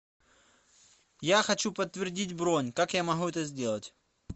я хочу подтвердить бронь как я могу это сделать